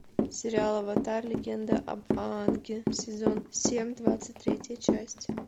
сериал аватар легенда об аанге сезон семь двадцать третья часть